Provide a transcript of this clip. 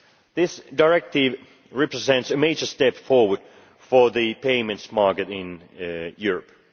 This directive represents a major step forward for the payments market in Europe.